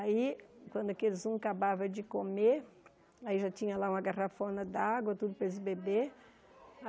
Aí, quando aqueles um acabava de comer, aí já tinha lá uma garrafona d'água, tudo para eles beberem.